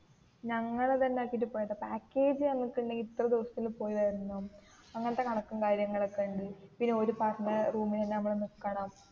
ഞങ്ങൾ തന്നേ ആക്കിയിട്ട് പോയതാ പാക്കേജ് എന്ന് ഒക്കേ ഉണ്ടെങ്കിൽ ഇത്ര ദിവസത്തിൽ പോയി വരണം അങ്ങനത്തെ കണക്കും കാര്യങ്ങൾ ഒക്കേ ഉണ്ട് പിന്നേ ഓരു പറഞ്ഞ റൂമിൽ തന്നേ നിക്കണം